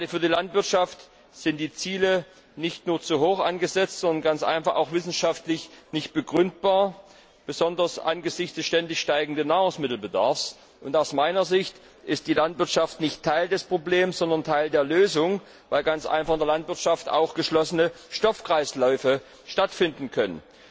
Gerade für die Landwirtschaft sind die Ziele nicht nur zu hoch angesetzt, sondern auch ganz einfach wissenschaftlich nicht begründbar, besonders angesichts des ständig steigenden Nahrungsmittelbedarfs und aus meiner Sicht ist die Landwirtschaft nicht Teil des Problems, sondern Teil der Lösung, weil ganz einfach in der Landwirtschaft auch geschlossene Stoffkreisläufe stattfinden können.